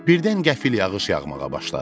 Birdən qəfil yağış yağmağa başladı.